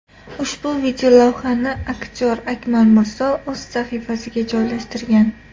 Ushbu videolavhani aktyor Akmal Mirzo o‘z sahifasiga joylashtirgan.